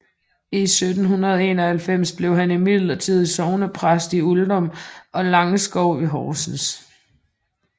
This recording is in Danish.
I 1791 blev han imidlertid sognepræst i Uldum og Langskov ved Horsens